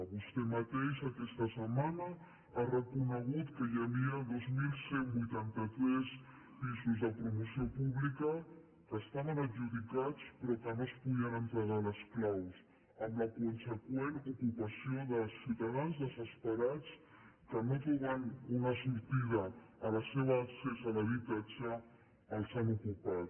vostè mateix aquesta setmana ha reconegut que hi havia dos mil cent i vuitanta tres pisos de promoció pública que estaven adjudicats però que no es podien lliurar les claus amb la conseqüent ocupació de ciutadans desesperats que no trobant una sortida al seu accés a l’habitatge els han ocupat